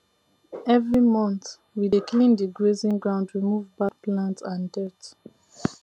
every month we dey clean the grazing ground remove bad plant and dirt